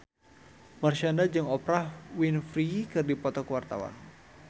Marshanda jeung Oprah Winfrey keur dipoto ku wartawan